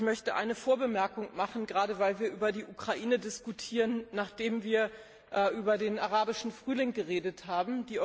Ich möchte eine Vorbemerkung machen, gerade weil wir über die Ukraine diskutieren, nachdem wir über den arabischen Frühling geredet haben.